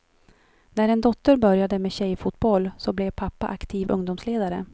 När en dotter började med tjejfotboll så blev pappa aktiv ungdomsledare.